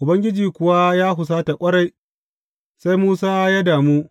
Ubangiji kuwa ya husata ƙwarai, sai Musa ya damu.